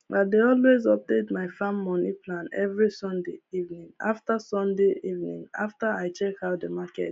i dey always update my farm moni plan every sunday evening after sunday evening after i check how the market be